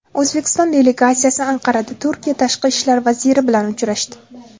O‘zbekiston delegatsiyasi Anqarada Turkiya Tashqi ishlar vaziri bilan uchrashdi.